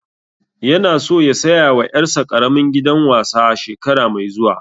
Ya na so ya saya wa ƴar sa ƙaramin gidan wasa shekara mai zuwa